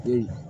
Den